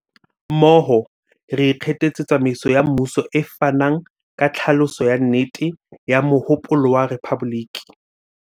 Mmoho, re ikgethetse tsamaiso ya mmuso e fanang ka tlhaloso ya nnete ya mohopolo wa rephaboliki.